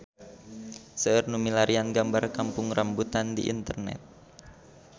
Seueur nu milarian gambar Kampung Rambutan di internet